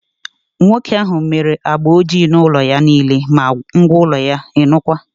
Nwoke ahụ mere agba ọjị na ụlọ ya niile, ma ngwa ụlọ ya, ịnụkwa!